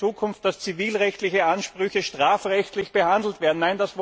Wollen wir, dass in Zukunft zivilrechtliche Ansprüche strafrechtlich behandelt werden?